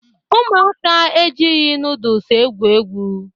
Ụmụaka ejighị nudụls egwu egwu